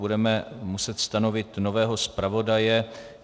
Budeme muset stanovit nového zpravodaje.